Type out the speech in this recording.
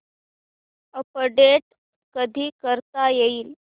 update कधी करता येईल